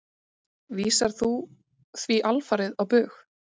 Vísar þú því alfarið á bug?